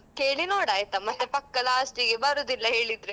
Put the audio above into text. ಕೇಳಿ ನೋಡ್ ಆಯ್ತಾ ಮತ್ತೆ ಪಕ್ಕ last ಗೆ ಬರುದಿಲ್ಲ ಹೇಳಿದ್ರೆ.